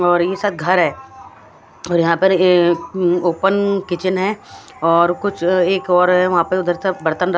और ये शायद घर है और यहां पर ये ओपन किचन है और कुछ एक और वहां पे उधर सब बर्तन--